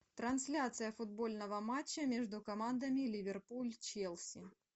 трансляция футбольного матча между командами ливерпуль челси